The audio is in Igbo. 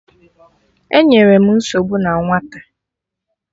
Enyerọ m nsogbu na nwata!